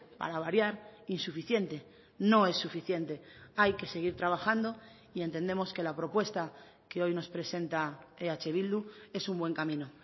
para variar insuficiente no es suficiente hay que seguir trabajando y entendemos que la propuesta que hoy nos presenta eh bildu es un buen camino